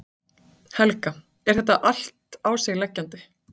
Helga: Er þetta allt á sig leggjandi?